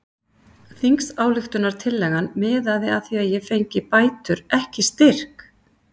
Þingsályktunartillagan miðaði að því að ég fengi bætur ekki styrk!